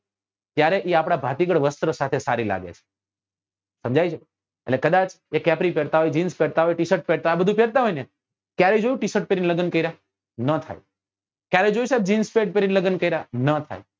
ત્યારે એ આપડા ભાતીગળ વસ્ત્રો સાથે સારી લાગે સમજાય છે એટલે કદાચ એ capry પેરતા હોય jins પેરતા હોય t shirt પેરતા હોય આ બધું પેરતા હોય ને ક્યારે જોયું છે t shirt પેરી ને લગન કર્યા નાં થાય કયારે જોયું jins pent પેરી ને લગન કર્યા નાં થાય